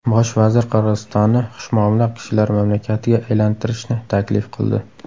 Bosh vazir Qirg‘izistonni xushmuomala kishilar mamlakatiga aylantirishni taklif qildi.